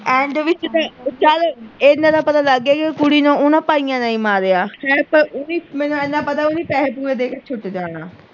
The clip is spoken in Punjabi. ਇਹਨਾਂ ਤੇ ਪਤਾ ਲੱਗ ਗਿਆ ਉਹ ਕੁੜੀ ਨੂੰ ਓਹਨਾ ਭਾਈਆਂ ਨੇ ਈ ਮਾਰਿਆ ਖੈਰ ਪਰ ਉਹ ਵੀ ਮੈਨੂੰ ਏਨਾ ਪਤਾ ਪੈਸੇ ਪੂਸੇ ਦੇ ਕ ਛੁੱਟ ਜਾਣਾ